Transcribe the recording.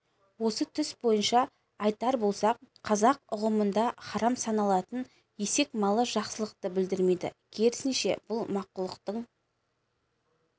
осы түс бойынша айтар болсақ қазақ ұғымында харам саналатын есек малы жақсылықты білдірмейді керісінше бұл мақұлықтың